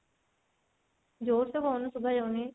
ଜୋରସେ କହୁନୁ ଶୁଭା ଯାଉନି